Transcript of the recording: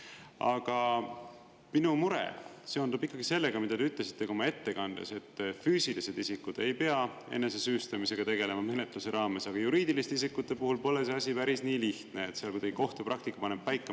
Aga minu mure seondub ikkagi sellega, mida te ütlesite ka oma ettekandes, et füüsilised isikud ei pea enesesüüstamisega tegelema menetluse raames, aga juriidiliste isikute puhul pole see asi päris nii lihtne, seal kuidagi kohtupraktika paneb paika.